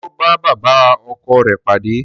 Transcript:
Ṣé ó bá bàbá ọkọ rẹ̀ pàdé?